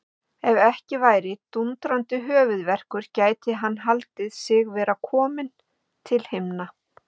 Ef ekki væri dúndrandi höfuðverkur gæti hann haldið sig vera kominn til himna.